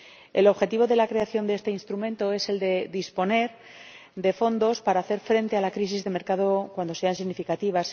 El objetivo de la creación de este instrumento es el de disponer de fondos para hacer frente a la crisis de mercado cuando sea significativa.